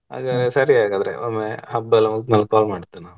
ಅದೇ ಸರಿ ಹಾಗಾದ್ರೆ ಒಮ್ಮೆ ಹಬ್ಬ ಎಲ್ಲ ಮುಗಿದ್ ನಾನು call ಮಾಡ್ತೀನೆ.